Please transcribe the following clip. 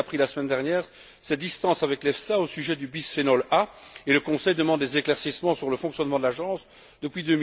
Dalli, a pris la semaine dernière ses distances avec l'EFSA au sujet du bisphénol A, et le Conseil demande des éclaircissements sur le fonctionnement de l'agence depuis